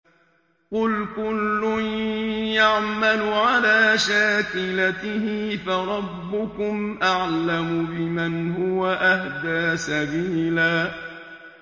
قُلْ كُلٌّ يَعْمَلُ عَلَىٰ شَاكِلَتِهِ فَرَبُّكُمْ أَعْلَمُ بِمَنْ هُوَ أَهْدَىٰ سَبِيلًا